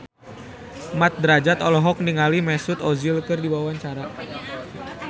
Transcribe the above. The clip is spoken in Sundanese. Mat Drajat olohok ningali Mesut Ozil keur diwawancara